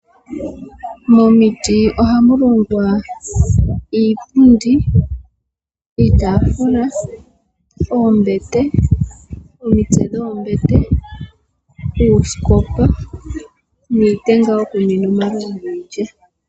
Momiti ohamu longwa iipundi, iitafula, oombete ,omitse dhombete, uusikopa, nitenga yokuninwa omalovu giilya.